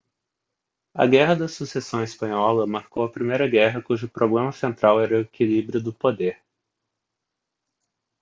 a guerra da sucessão espanhola marcou a primeira guerra cujo problema central era o equilíbrio do poder